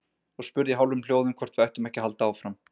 Og spurði í hálfum hljóðum hvort við ættum ekki að halda áfram.